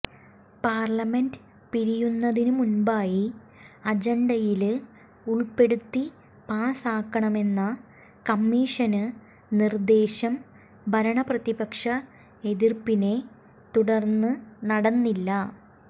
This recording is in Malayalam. പാര്ലമെന്റ് പിരിയുന്നതിന് മുമ്പായി അജണ്ടയില് ഉള്പ്പെടുത്തി പാസ്സാക്കണമെന്ന കമ്മീഷന് നിര്ദേശം ഭരണ പ്രതിപക്ഷ എതിര്പ്പിനെ തുടര്ന്ന് നടന്നില്ല